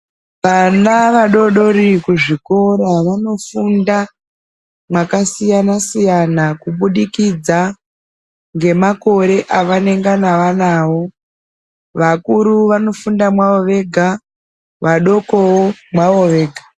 Vana vadodori kuzvikora vanofunda mwakasiyana siyana kubudikidza ngemakore avanenge anawo. Vakuru vanofunda mwavo vega. Vadokowo mwavo vega.